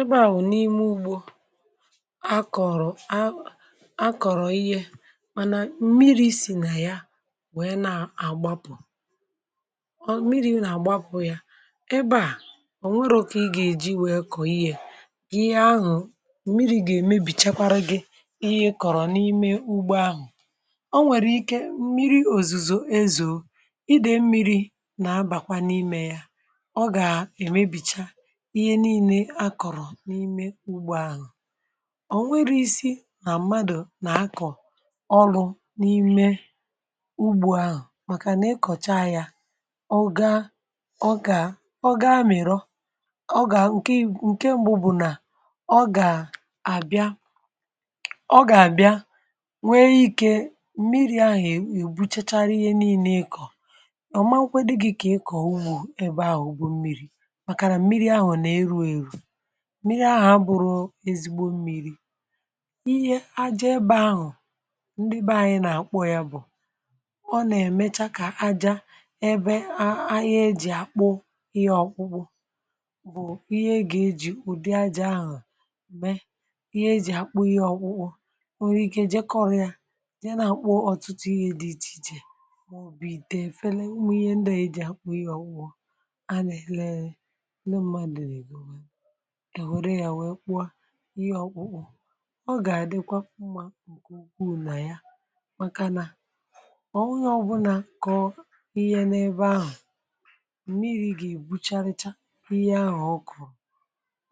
Ị̀gba ahụ̀ n’ime ugbò akọ̀rọ̀ a, akọ̀rọ̀ ihe, mánà mmìrì sì nà ya nwere, na-àgbapụ̀. Ọ̀ bụ mmìrì na-àgbapụ̀ ya, ìbè a, ọ̀ nwere ka ị gà-èji nwee kọ̀rọ̀ ihe. Ihe ahụ̀, mmìrì gà-èmébì, um chekwara gị ihe ị kọ̀rọ̀ n’ime ugbò ahụ̀. Ọ nwere ike, mmìrì òzùzò, èzò, ịdị̀ mmìrì nà-abàkwa n’ime ya. Ọ gà-èmébìchá n’ime ugbò ahụ̀. um Ọ̀ nwere isi̇ nà mmadụ̀ nà-akọ̀ ọrụ̇ n’ime ugbò ahụ̀, mākà nà ịkọ̀cha ya, ọ gaa, ọ gà, ọ gaa, um mèrọ. Nke mbu̇ bụ̀ nà, ọ gà-àbịa, ọ gà-àbịa nwee ike mmìrì ahụ̀, èbuchachara ihe niile ịkọ̀. Ọ̀màkwụọ́kwọ dị gị̇ kà ịkọ̀ unu ebe ahụ̀ ugwu mmìrì, um mākà nà mmìrì ahụ̀ na-eru eru. Mmìrì ahụ̀ bụ ezigbo mmìrì. Ihe àjà ebe ahụ̀, ndị be anyị nà-àkpọ ya bụ̀ ọ. um Ọ nà-èmecha ka àjà ebe ahụ̀, ihe e ji àkpụ ihe ọkpụkpụ, bụ̀ ihe e gà-eji ụ̀dị àjà ahụ̀ mee. Ihe e ji àkpụ ihe ọkpụkpụ, o nwere ike, um jeekọọ̇ ya, je, na-àkpụ ọ̀tụtụ ihe dị iche iche mọ̀bụ̀ itè, eféle, ihe ndị e ji àkpụ ihe ọkpụ. A na-elele ụmụ̀màdụ̀ na-ebù ihe ọkpụkpụ. Ọ gà-àdịkwa mma nke ukwuu nà ya, mākà nà ọ̀ onye ọbụla kọ̀ọ ihe n’ebe ahụ̀, mmìrì gà-èbucha, richa ihe ahụ̀. Ọ kụ̀ọ,